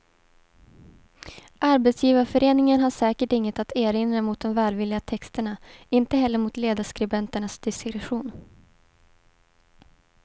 Arbetsgivarföreningen har säkert inget att erinra mot de välvilliga texterna, inte heller mot ledarskribenternas diskretion.